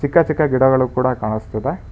ಚಿಕ್ಕ ಚಿಕ್ಕ ಗಿಡಗಳು ಕೂಡ ಕಾಣುತ್ತಿವೆ.